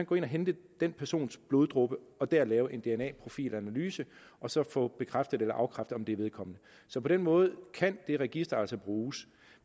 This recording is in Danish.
gå ind at hente den persons bloddråbe og deraf lave en dna profil analyse og så få bekræftet eller afkræftet om det er vedkommende så på den måde kan det register altså bruges